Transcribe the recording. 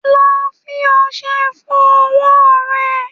Lọ fi ọṣẹ fọ ọwọ́ rẹ!